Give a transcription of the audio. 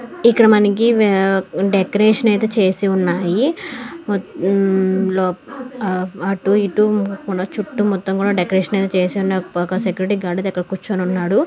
ఇక్కడ మనకి వె-డెకొరేషన్ అయితే చేసి ఉన్నాయి. హ్మం అటు ఇటు మన చుట్టూ మొత్తం కూడా డెకొరేషన్ చేసి ఉంది ఒక సెక్యూరిటీ గార్డ్ అయితే కూర్చొని ఉన్నాడు.